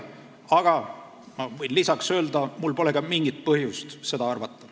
Aga ma võin lisaks öelda, et mul pole ka mingit põhjust seda arvata.